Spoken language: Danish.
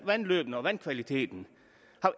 vandløbene og vandkvaliteten